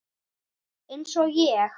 Eins og ég?